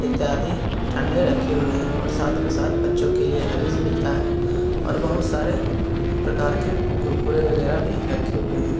इत्यादि ठंडे रखे हुए है और साथ में साथ बच्चो के हगीज मिलता है और बहुत सारे प्रकार के कुरकुरे वगेरा भी रखे हुए है।